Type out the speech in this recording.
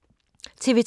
TV 2